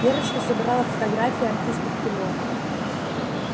верочка собирала фотографии артистов кино